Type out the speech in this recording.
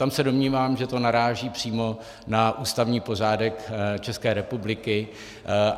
Tam se domnívám, že to naráží přímo na ústavní pořádek České republiky.